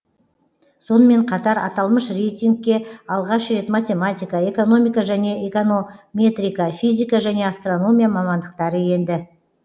сонымен қатар аталмыш рейтингке алғаш рет математика экономика және эконометрика физика және астрономия мамандықтары енді